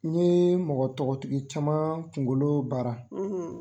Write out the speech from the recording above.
N ɲe mɔgɔ tɔgɔtigi caman kunkolo baara